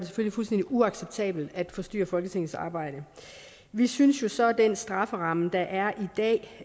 fuldstændig uacceptabelt at forstyrre folketingets arbejde vi synes jo så at den strafferamme der er i dag